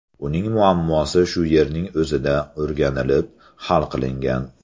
Uning muammosi shu yerning o‘zida o‘rganilib, hal qilingan.